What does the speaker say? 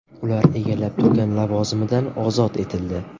Ular egallab turgan lavozimidan ozod etildi.